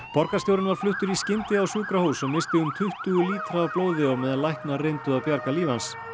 borgarstjórinn var fluttur í skyndi á sjúkrahús og missti um tuttugu lítra af blóði á meðan læknar reyndu að bjarga lífi hans